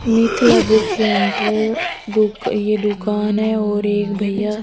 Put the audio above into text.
Mithila book centre दुक ये दुकान और एक भैया--